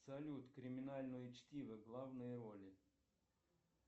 салют криминальное чтиво главные роли